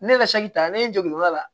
Ne yɛrɛ ta ne jɔ n'o la